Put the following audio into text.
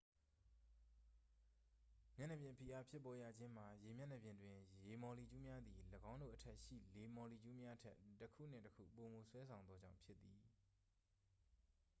မျက်နှာပြင်ဖိအားဖြစ်ပေါ်ရခြင်းမှာ ရေမျက်နှာပြင်တွင် ရေမာ်လီကျူးများသည် ၎င်းတို့အထက်ရှိ လေမော်လီကျူးများထက် တစ်ခုနှင့် တစ်ခု ပိုမို ဆွဲဆောင်သောကြောင့်ဖြစ်သည်